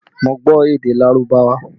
Mo gbọ́ èdè Lárúbáwá